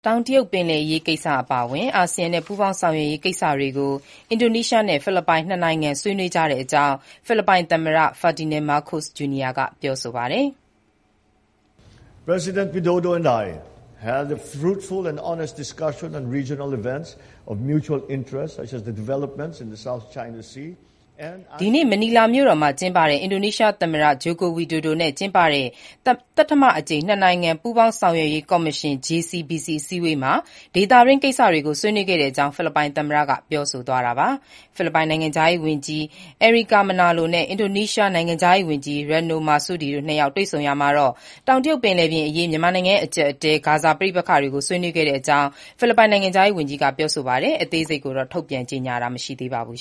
တောင်တရုတ်ပင်လယ်အရေး ကိစ္စအပါအဝင် အာဆီယံနဲ့ ပူးပေါင်းဆောင်ရွက်ရေးကိစ္စတွေကို အင်ဒိုနီးရှားနဲ့ ဖိလစ်ပိုင် နှစ်နိုင်ငံ ဆွေးနွေးကြတဲ့အကြောင်း ဖိလစ်ပိုင် သမ္မတ Ferdinand Marcos Jr. က ပြောဆိုပါတယ်။ ဒီနေ့ မနီလာမြို့တော်မှာ ကျင်းပတဲ့ အင်ဒိုနီးရှား သမ္မတ Joko Widodo နဲ့ ကျင်းပတဲ့ သတ္တမအကြိမ် နှစ်နိုင်ငံ ပူးပေါင်းဆောင်ရွက်ရေး ကော်မရှင် JCBC အစည်းအဝေးမှာ ဒေသတွင်း ကိစ္စတွေကို ဆွေးနွေးတဲ့အကြောင်း ဖိလစ်ပိုင် သမ္မတက ပြောဆိုသွားတာပါ။ ဖိလစ်ပိုင်နိုင်ငံခြားရေး ဝန်ကြီး Enrique Manalo နဲ့ အင်ဒိုနီးရှား နိုင်ငံခြားရေးဝန်ကြီး Retno Marsudi တို့နှစ်ယောက် တွေ့ဆုံရာမှာတော့ တောင်တရုတ်ပင်လယ်အရေးအပြင် မြန်မာနိုင်ငံရဲ့ အကြပ်အတည်း၊ ဂါဇာ ပဋိပက္ခတွေကို ဆွေးနွေးခဲ့တဲ့အကြောင်း ဖိလစ်ပိုင်နိုင်ငံခြားရေး ဝန်ကြီးက ပြောဆိုပါတယ်။ အသေးစိတ်ကိုတော့ ထုတ်ပြန်ကြေညာတာ မရှိပါဘူး